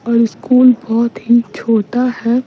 और स्कूल बहुत ही छोटा है --